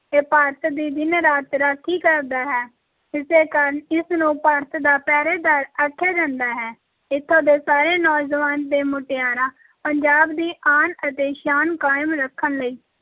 ਇਹ ਭਾਰਤ ਦੀ ਦਿਨ-ਰਾਤ ਰਾਖੀ ਕਰਦਾ ਹੈ, ਇਸੇ ਕਾਰਨ ਇਸ ਨੂੰ ਭਾਰਤ ਦਾ ਪਹਿਰੇਦਾਰ ਆਖਿਆ ਜਾਂਦਾ ਹੈ, ਇੱਥੋਂ ਦੇ ਸਾਰੇ ਨੌਜਵਾਨ ਤੇ ਮੁਟਿਆਰਾਂ ਪੰਜਾਬ ਦੀ ਆਨ ਅਤੇ ਸ਼ਾਨ ਕਾਇਮ ਰੱਖਣ ਲਈ